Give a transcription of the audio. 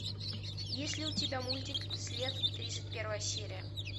есть ли у тебя мультик след тридцать первая серия